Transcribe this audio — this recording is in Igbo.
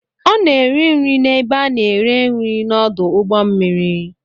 Ọ na-eri nri na ebe a na-ere nri na ọdụ ụgbọ mmiri.